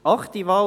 Achte Wahl: